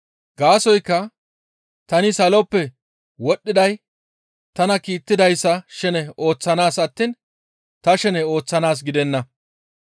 Gaasoykka tani saloppe wodhdhiday tana kiittidayssa shene ooththanaas attiin ta shene ooththanaas gidenna.